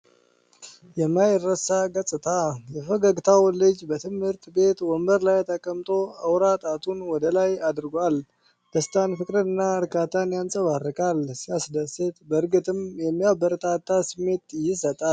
የማይረሳ ገጽታ! የፈገግታው ልጅ በትምህርት ቤት ወንበር ላይ ተቀምጦ አውራ ጣቱን ወደ ላይ አድርጓል። ደስታን፣ ፍቅርንና እርካታን ያንጸባርቃል። ሲያስደስት! በእርግጥም የሚያበረታታ ስሜት ይሰጣል።